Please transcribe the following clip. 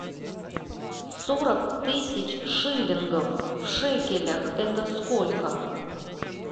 сорок тысяч шиллингов в шекелях это сколько